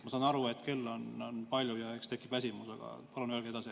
Ma saan aru, et kell on palju ja eks tekib väsimus, aga palun öelge edasi.